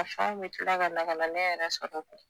A fɛnw be kila ka na ka na ne yɛrɛ sɔrɔ koyi